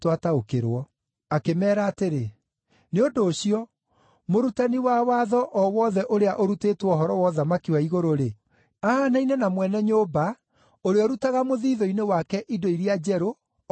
Akĩmeera atĩrĩ, “Nĩ ũndũ ũcio, mũrutani wa watho o wothe ũrĩa ũrutĩtwo ũhoro wa ũthamaki wa igũrũ-rĩ, ahaanaine na mwene nyũmba ũrĩa ũrutaga mũthiithũ-inĩ wake indo iria njerũ o na iria ngũrũ.”